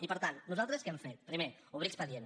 i per tant nosaltres què hem fet primer obrir expedient